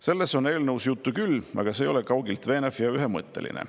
Sellest on eelnõus juttu küll, aga see ei ole kaugeltki veenev ega ühemõtteline.